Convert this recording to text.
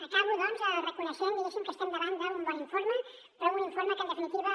acabo doncs reconeixent diguéssim que estem davant d’un bon informe però un informe que en definitiva